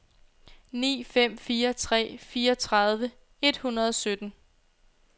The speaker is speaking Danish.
ni fem fire tre fireogtredive et hundrede og sytten